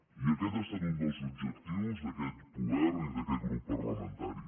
i aquest ha estat un dels objectius d’aquest govern i d’aquest grup parlamentari